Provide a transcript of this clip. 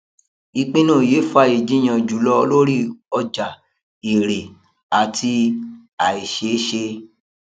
ìpinnu yìí fa ìjiyàn jùlọ lórí ọjà èrè àti àìṣeṣé